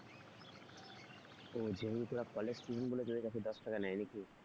ও যেহেতু তোরা college student বলে তোদের কাছে দশ টাকা নেয় নাকি?